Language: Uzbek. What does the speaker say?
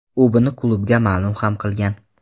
U buni klubga ma’lum ham qilgan.